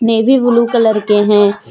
Navy blue colour के है।